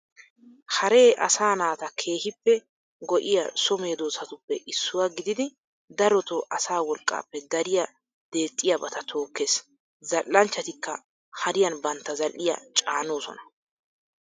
Haree asaa naata keehippe go'iya so medoosatuppe issuwaa gididi daroto asaa wolqqaappe dariya deexxiyabata tookkees. Zal'anchchatikka hariyan bantta zal'iyaa caanoosona.